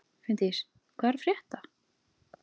Finndís, hvað er að frétta?